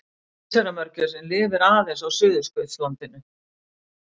Keisaramörgæsin lifir aðeins á Suðurskautslandinu.